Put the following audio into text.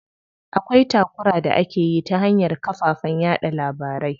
Akwai takura da akeyi ta hanyar kafafen yaɗa labarai.